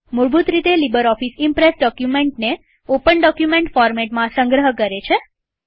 મૂળભૂત રીતે LibreOffice Impress ડોક્યુમેન્ટને ઓપન ડોક્યુમેન્ટ ફોરમેટમાં સંગ્રહ કરે છે